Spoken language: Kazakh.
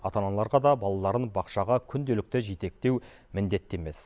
ата аналарға да балаларын бақшаға күнделікті жетектеу міндетті емес